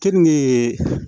Keninke